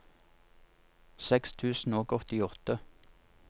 seks tusen og åttiåtte